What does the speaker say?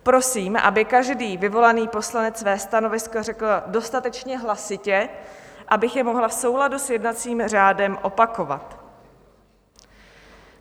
Prosím, aby každý vyvolaný poslanec své stanovisko řekl dostatečně hlasitě, abych je mohla v souladu s jednacím řádem opakovat.